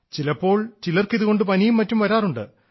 ചിലപ്പോൾ ചിലർക്ക് ഇതുകൊണ്ട് പനിയും മറ്റും വരാറുണ്ട്